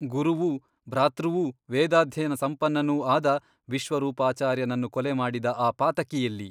ಗುರುವೂ ಭ್ರಾತೃವೂ ವೇದಾಧ್ಯಯನ ಸಂಪನ್ನನೂ ಆದ ವಿಶ್ವರೂಪಾಚಾರ್ಯನನ್ನು ಕೊಲೆ ಮಾಡಿದ ಆ ಪಾತಕಿಯೆಲ್ಲಿ?